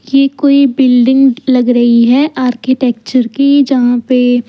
ये कोई बिल्डिंग लग रही है आर्किटेक्चर की जहां पे --